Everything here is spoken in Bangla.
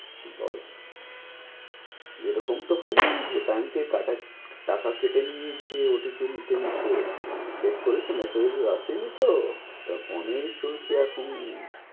বল এরকম তো হয়নি যে bank থেকে টাকা কেটে নিয়েছে OTP নিতে নিতে check করেছো massage massage আসেনি তো? ধক অনেক চলছে এখন।